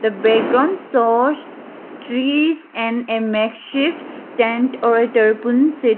background shows s-s trees and a makeshift tent or a seat --